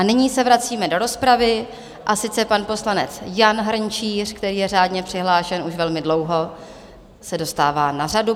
A nyní se vracíme do rozpravy, a sice pan poslanec Jan Hrnčíř, který je řádně přihlášen už velmi dlouho, se dostává na řadu.